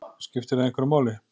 Skiptir það einhverju máli?